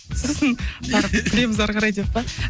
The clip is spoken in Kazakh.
сосын тағы біріктіреміз ары қарай деп пе